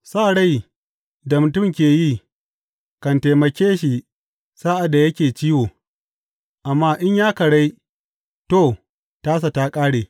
Sa rai da mutum ke yi kan taimake shi sa’ad da yake ciwo, amma in ya karai, to, tasa ta ƙare.